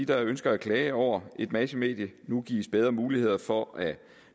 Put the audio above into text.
der ønsker at klage over et massemedie nu gives bedre muligheder for at